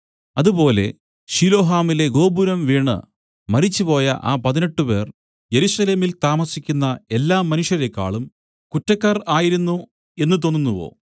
അതുപോലെ ശിലോഹാമിലെ ഗോപുരം വീണു മരിച്ചുപോയ ആ പതിനെട്ടുപേർ യെരൂശലേമിൽ താമസിക്കുന്ന എല്ലാ മനുഷ്യരേക്കാളും കുറ്റക്കാർ ആയിരുന്നു എന്നു തോന്നുന്നുവോ